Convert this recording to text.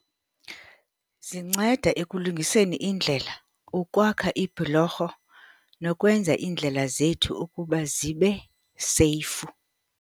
Zinceda ekulungiseni iindlela, ukwakha ibhulorho nokwenza iindlela zethu ukuba zibe seyifu.